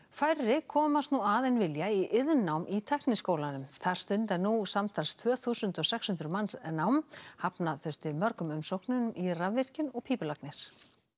færri komast nú að en vilja í iðnnám í Tækniskólanum þar stunda nú samtals tvö þúsund og sex hundruð manns nám hafna þurfti mörgum umsóknum í rafvirkjun og pípulagnir